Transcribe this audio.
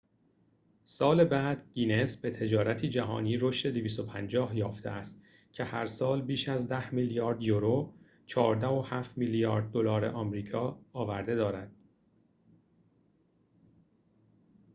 250 سال بعد، گینس به تجارتی جهانی رشد یافته است که هرسال بیش از 10 میلیارد یورو 14.7 میلیارد دلار آمریکا آورده دارد